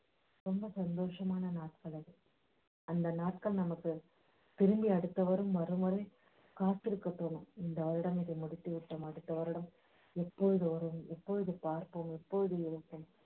ரொம்ப சந்தோஷமான நாட்கள் அதுஅந்த நாட்கள் நமக்குதிரும்பி அடுத்த வருடம் வரும்வரை காத்திருக்கப் போறோம் இந்த வருடம் இதை முடித்துவிட்டோம் அடுத்த வருடம் எப்போது வரும் எப்போது பார்ப்போம் எப்போது